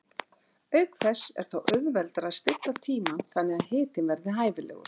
Auk þess er þá auðveldara að stilla tímann þannig að hitinn verði hæfilegur.